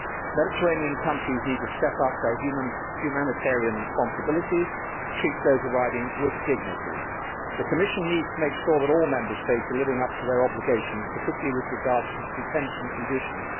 Mediterranean countries need to step up their humanitarian responsibilities to treat those arriving with dignity. The Commission needs to make sure that all Member States are living up to their obligations, particularly with regard to detention conditions.